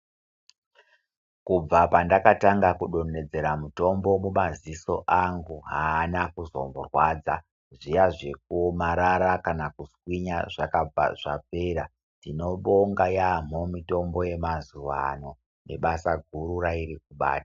Kubva pandakatanga kudontedzera mutombo mumaziso anhu aana kuzomborwadza zviya zvekuomarara kana kuswinya zvakabva zvapera tinobonga yampho mitombo yemazuwa ano nebasa guru rairikubata.